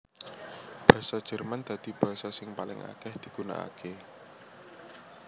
Basa Jerman dadi basa sing paling akèh digunakaké